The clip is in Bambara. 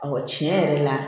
tiɲɛ yɛrɛ la